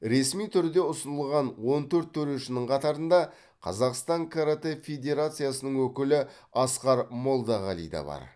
ресми түрде ұсынылған он төрт төрешінің қатарында қазақстан каратэ федерациясының өкілі асқар молдағали да бар